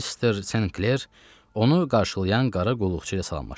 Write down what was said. Mister Senkler onu qarşılayan qara qulluqçu ilə salamlaşdı.